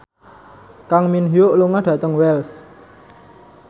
Kang Min Hyuk lunga dhateng Wells